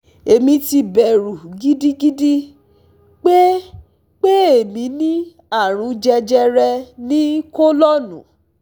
Èmi ti bẹ̀rù gidigidi pé pé èmi ní àrùn jejere ní kọ́lọ́nnù